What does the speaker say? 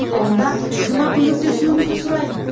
онда қызыма көмектесуіңізді сұраймын